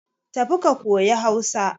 Tafi ka koyi Hausa.